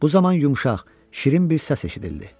Bu zaman yumşaq, şirin bir səs eşidildi.